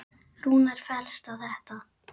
Rúnar fellst á þetta.